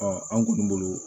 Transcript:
an kɔni bolo